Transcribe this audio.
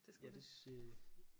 Det skulle det